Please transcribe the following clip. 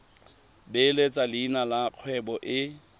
beeletsa leina la kgwebo e